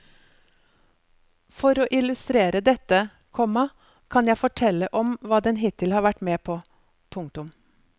For å illustrere dette, komma kan jeg fortelle om hva den hittil har vært med på. punktum